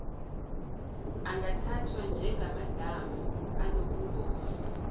angathathwa njengamadamu anobungozi